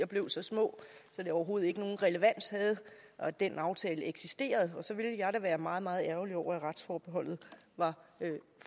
blev så små at det overhovedet ikke nogen relevans havde at den aftale eksisterede og så ville jeg da være meget meget ærgerlig over at retsforbeholdet var